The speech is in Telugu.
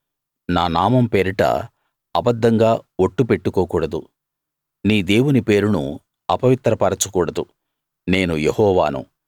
నా నామం పేరిట అబద్ధంగా ఒట్టు పెట్టుకోకూడదు నీ దేవుని పేరును అపవిత్ర పరచకూడదు నేను యెహోవాను